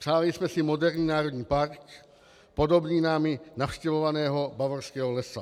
Přáli jsme si moderní národní park, podobný námi navštěvovanému Bavorskému lesu.